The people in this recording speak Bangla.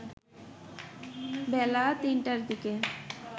বেলা ৩টার দিকে